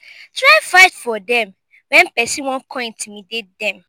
try fight for dem wen pesin wan con intimidate dem